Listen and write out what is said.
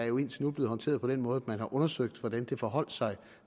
jo indtil nu er blevet håndteret på den måde at man har undersøgt hvordan det forholdt sig